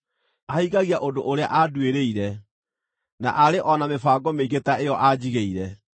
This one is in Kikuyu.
Ahingagia ũndũ ũrĩa anduĩrĩire, na arĩ o na mĩbango mĩingĩ ta ĩyo anjigĩire.